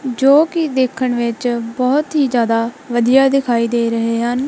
ਜੋ ਕਿ ਦੇਖਣ ਵਿੱਚ ਬਹੁਤ ਹੀ ਜਿਆਦਾ ਵਧੀਆ ਦਿਖਾਈ ਦੇ ਰਹੇ ਹਨ।